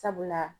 Sabula